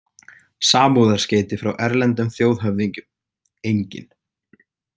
Samúðarskeyti frá erlendum þjóðhöfðingjum: engin.